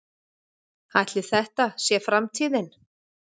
Ætli þetta sé framtíðin?